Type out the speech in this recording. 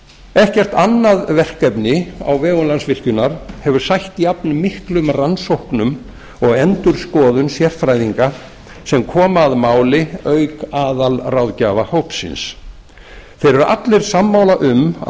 ekkert annað verkefni á vegum landsvirkjunar hefur sætt jafnmiklum rannsóknum og endurskoðun sérfræðinga sem koma að máli auk aðalráðgjafahópsins þeir eru allir sammála um að